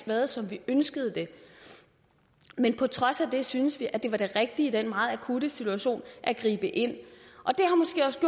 været som vi ønskede det men på trods af det synes vi at det var det rigtige i den meget akutte situation at gribe ind